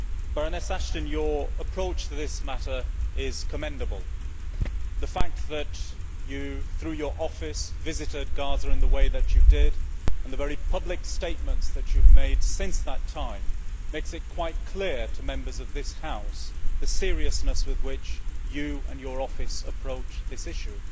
Mr President, Baroness Ashton, your approach to this matter is commendable. The fact that you, through your office, visited Gaza in the way that you did, and the very public statements that you have made since that time, makes quite clear to Members of this House the seriousness with which you and your office approach this issue.